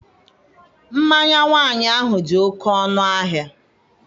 Mmanya nwaanyị ahụ dị oke ọnụahịa..